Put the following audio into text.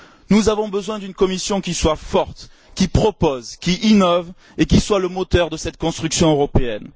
Nous avons besoin d'une Commission qui soit forte, qui propose, qui innove et qui soit le moteur de cette construction européenne.